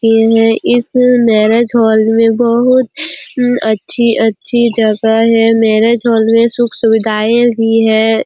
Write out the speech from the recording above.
किए है इस मैरिज हॉल में बहुत अम अच्छी- अच्छी जगह है मैरिज हॉल में सुख- सुविधाएँ भी हैं।